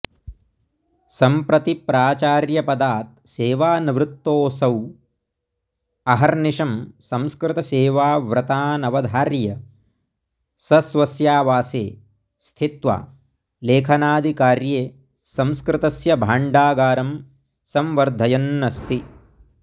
सम्प्रति प्राचार्यपदात् सेवानिवृत्तोऽसौ अहर्निशं संस्कृतसेवाव्रतानवधार्य सस्वस्यावासे स्थित्वा लेखनादिकार्ये संस्कृतस्य भाण्डागारं सम्बर्द्धयन्नस्ति